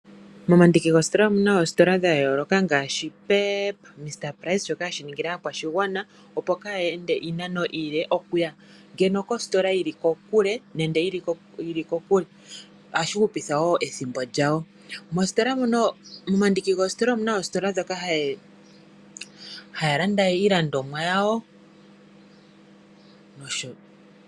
Momandiki goositola imuna oositola dha yooloka ngaashi Pep, Mr price shoka hashi ningile aakwashigwana kayeende juya koositola dho kokele nohashi hupitha ethimbo lyawo. Omuna oositola moka haya landa iilandomwa yawo.